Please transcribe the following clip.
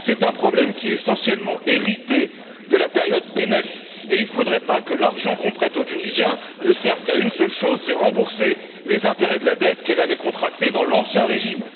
C'est un problème qui est essentiellement hérité de la période Ben Ali et il ne faudrait pas que l'argent que l'on prête aux Tunisiens ne serve qu'à une seule chose, à savoir rembourser les intérêts de la dette qu'elle avait contractée dans l'ancien régime.